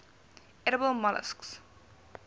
edible molluscs